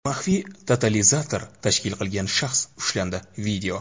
maxfiy totalizator tashkil qilgan shaxs ushlandi.